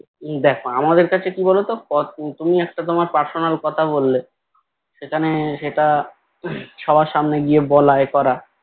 দেখো আমাদের কাছে কি বলতো তুমি একটা তোমার personal কথা বললে সেখানে সেটা সবার সামনে গিয়ে বলা ইয়ে করা